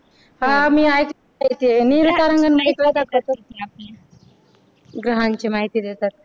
हा मी नेहरू तारांगण एक प्रकारचं ग्रहांची माहिती देतात.